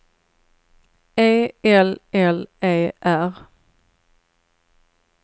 E L L E R